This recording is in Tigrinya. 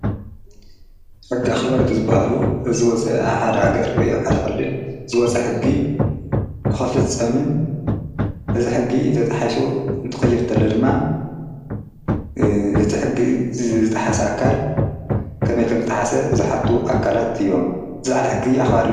ሕጋ ኸበር እቲ ዘበሃሉ እዘወፀአ ኣብሃር ሃገር ወይ ብሓደኽልል ዘወፀ ሕጊ ንኸፍጸምን እዝ ሕጊ ተጥሒሱ እንትኽይርተለ ድማ እቲ ሕጊ ዝጠሓሰ ኣካል ከመይ ከም ዝተሓሰ ዝሓቱ ኣካላት እዮም ዝዕል ሕጊ ኣኽር።